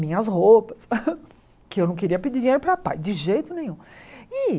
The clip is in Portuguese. Minhas roupas, que eu não queria pedir dinheiro para pai, de jeito nenhum. E